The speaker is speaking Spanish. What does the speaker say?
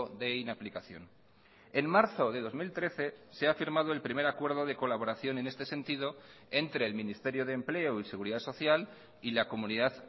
de inaplicación en marzo de dos mil trece se ha firmado el primer acuerdo de colaboración en este sentido entre el ministerio de empleo y seguridad social y la comunidad